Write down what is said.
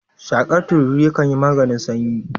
Shakar tururi yakan yin maganin sanyi